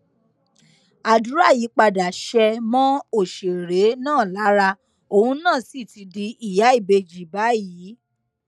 àdúrà yìí padà ṣe mọ òṣèré náà lára òun náà sì ti di ìyá ìbejì báyìí